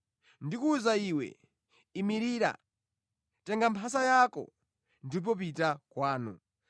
“Ndikuwuza iwe, imirira, tenga mphasa yako ndipo pita kwanu.”